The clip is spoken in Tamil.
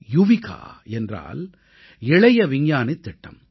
யுவிகா என்றால் இளைய விஞ்ஞானித் திட்டம்